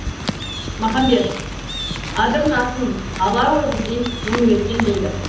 махамбет адырнасын ала өгіздей мөңіреткен дейді